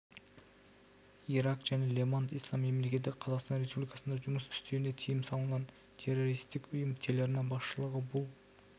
ирак және левант ислам мемлекеті қазақстан республикасында жұмыс істеуіне тыйым салынған террористік ұйым телеарна басшылығы бұл